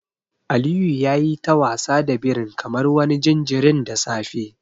Aliyu yayi ta wasa da birin kamar wani jinjirin da safe.